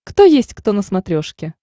кто есть кто на смотрешке